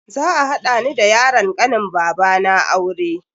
Za a hada ni da yaron kanin babana aure.